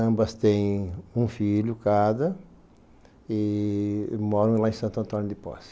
Ambas têm um filho cada e moram lá em Santo Antônio de Poce.